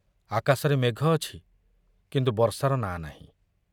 ଆକାଶରେ ମେଘ ଅଛି, କିନ୍ତୁ ବର୍ଷାର ନାଁ ନାହିଁ।